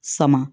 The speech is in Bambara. Sama